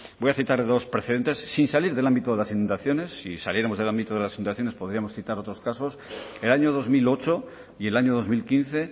voy a citar dos precedentes sin salir del ámbito de las inundaciones si saliéramos del ámbito de las inundaciones podríamos citar otros casos el año dos mil ocho y el año dos mil quince